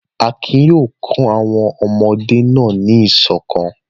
Akin yóò kọ́ àwọn ọmọdé náà ní ìṣọ̀kan.